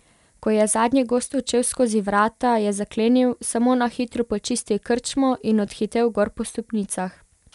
Ko je zadnji gost odšel skozi vrata, je zaklenil, samo na hitro počistil krčmo in odhitel gor po stopnicah.